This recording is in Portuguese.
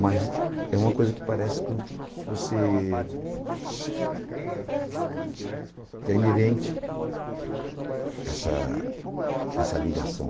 Mas é uma coisa que parece que você é inerente a essa essa ligação.